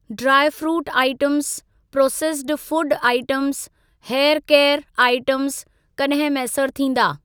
Dry fruit items, processed processed food items, hair care items कॾहिं मैसर थींदी?